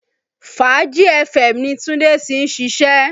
Fàájì FM ni Tunde tí ń ṣiṣẹ́